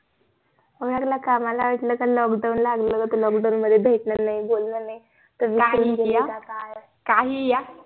ओळखलं का मला वाटलं का lockdown लागलं तुला दोन दोन महिने भेटणं नाही बोलणं नाही